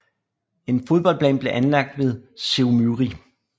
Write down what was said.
En fodboldbane blev anlagt ved Sevmýri